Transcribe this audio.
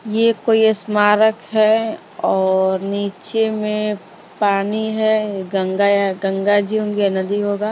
ये कोई स्मारक है और नीचे में पानी है गंगा या गंगा जी होंगे या नदी होगा--